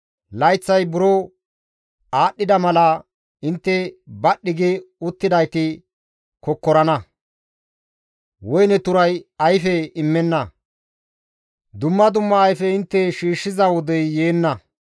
Layththay buro aadhdhida mala, intte badhdhi gi uttidayti kokkorana; woyne turay ayfe immenna dumma dumma ayfe intte shiishshiza wodey yeenna.